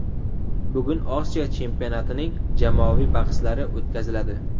Bugun Osiyo chempionatining jamoaviy bahslari o‘tkaziladi.